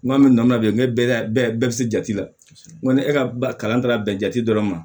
N ko an bɛ nɔnɔ bilen ne bɛɛ la bɛɛ bɛɛ bɛ se jate la ni e ka kalan taara bɛn jate dɔrɔn ma